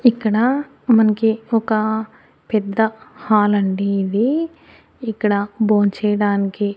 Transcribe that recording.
ఇక్కడ మనకి ఒక పెద్ద హాలండి ఇది ఇక్కడ భోంచేయడానికి.